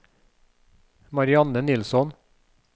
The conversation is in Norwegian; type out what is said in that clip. Marianne Nilsson